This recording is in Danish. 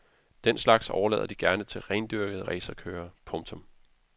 Den slags overlader de gerne til rendyrkede racerkørere. punktum